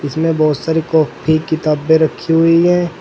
इसमें बहोत सारी कॉपी किताबे रखी हुई है।